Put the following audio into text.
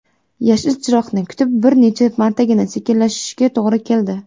Yashil chiroqni kutib bir necha martagina sekinlashishiga to‘g‘ri keldi.